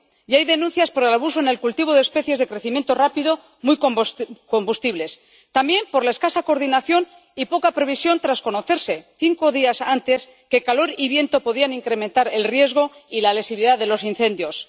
Hay denuncias por el abuso en el cultivo de especies de crecimiento rápido muy combustibles y también por la escasa coordinación y poca previsión tras conocerse cinco días antes que el calor y el viento podían incrementar el riesgo y la lesividad de los incendios.